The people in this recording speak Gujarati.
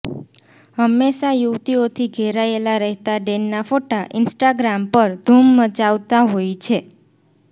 હંમેશા યુવતીઓથી ધેરાયેલા રહેતા ડેનના ફોટા ઈન્સ્ટાગ્રામ પર ધૂમ મચાવતા હોય છે